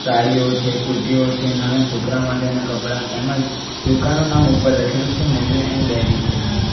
સાડીઓ છે કુર્તીઓ છે નાના છોકરા માટેના કપડા તેમજ દુકાનનું નામ ઉપર લખેલું છે મમ્મી એન્ડ ડેડી કરીને.